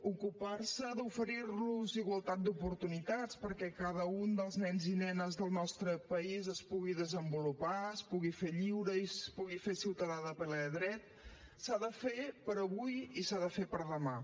ocupar se d’oferir los igualtat d’oportunitats perquè cada un dels nens i nenes dels nostre país es pugui desenvolupar es pugui fer lliure i es pugui fer ciutadà de ple dret s’ha de fer per avui i s’ha de fer per demà